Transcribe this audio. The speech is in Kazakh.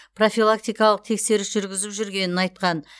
профилактикалық тексеріс жүргізіп жүргенін айтқан